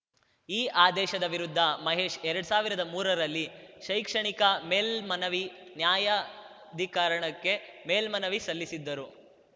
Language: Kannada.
ಈ ಆದೇಶದ ವಿರುದ್ಧ ಮಹೇಶ್‌ ಎರಡ್ ಸಾವಿರ್ದ ಮೂರರಲ್ಲಿ ಶೈಕ್ಷಣಿಕ ಮೇಲ್ಮನವಿ ನ್ಯಾಯಾಧಿಕರಣಕ್ಕೆ ಮೇಲ್ಮನವಿ ಸಲ್ಲಿಸಿದ್ದರು